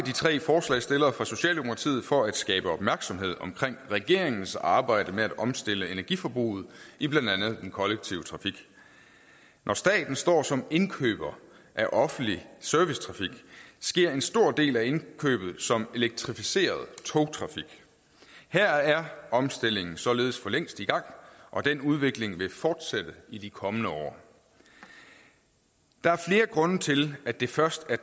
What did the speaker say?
de tre forslagsstillere fra socialdemokratiet for at skabe opmærksomhed om regeringens arbejde med at omstille energiforbruget i blandt andet den kollektive trafik når staten står som indkøber af offentlig servicetrafik sker en stor del af indkøbet som elektrificeret togtrafik her er omstillingen således for længst sat i gang og den udvikling vil fortsætte i de kommende år der er flere grunde til at det først er